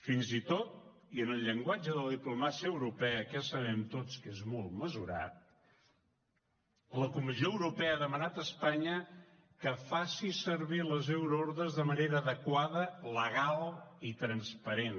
fins i tot i en el llenguatge de la diplomàcia europea que ja sabem tots que és molt mesurat la comissió europea ha demanat a espanya que faci servir les euroordres de manera adequada legal i transparent